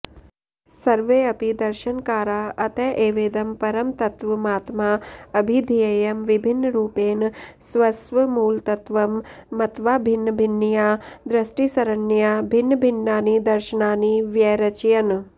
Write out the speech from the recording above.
सर्वेऽपि दर्शनकारा अत एवेदं परमतत्त्वमात्मा अभिधेयं विभिन्नरूपेण स्वस्वमूलतत्त्वं मत्वा भिन्नभिन्नया दृष्टिसरण्या भिन्नभिन्नानि दर्शनानि व्यरचयन्